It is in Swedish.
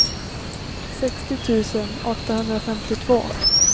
sextio tusen åttahundrafemtiotvå